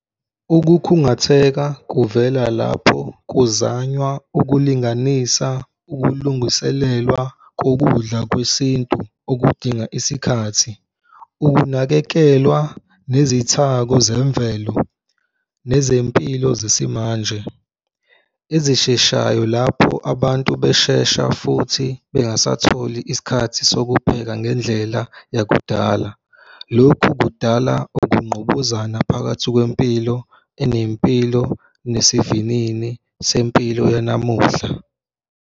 Ukukhungatheka kuvela lapho kuzanywa ukulinganisa ukulungiselelwa kokudla kwesintu okudinga isikhathi, ukunakekelwa nezithako zemvelo nezempilo zesimanje ezisheshayo lapho abantu beshesha, futhi bengasatholi isikhathi sokupheka ngendlela yakudala. Lokhu kudala ukungqubuzana phakathi kwempilo enempilo nesivinini sempilo yanamuhla.